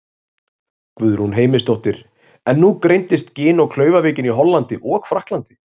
Guðrún Heimisdóttir: En nú greindist gin- og klaufaveikin í Hollandi og Frakklandi?